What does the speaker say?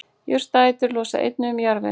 jurtaætur losa einnig um jarðveg